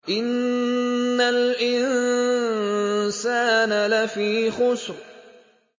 إِنَّ الْإِنسَانَ لَفِي خُسْرٍ